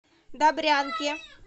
добрянке